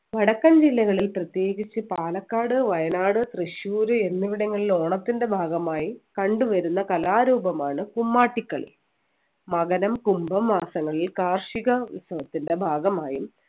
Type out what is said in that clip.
വടക്കൻ ജില്ലകളിൽ പ്രത്യേകിച്ച് പാലക്കാട് വയനാട് തൃശ്ശൂർ എന്നിവിടങ്ങളിൽ ഓണത്തിൻ്റെ ഭാഗമായി കണ്ടുവരുന്ന കലാരൂപമാണ് കുമ്മാട്ടിക്കളി മകരം കുംഭം മാസങ്ങളിൽ കാർഷിക ഉത്സവത്തിൻ്റെ ഭാഗമായി